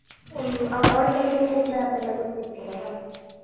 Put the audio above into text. ಹ್ಮ್ ಅವ~ ಅವರಿಗಾದ್ರೆ road map ಎಲ್ಲ ಗೊತ್ತಿರ್ತದೆ ಅಲ .